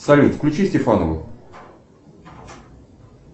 салют включи стефанову